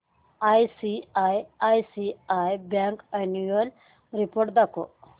ICICI bank annual report दाखव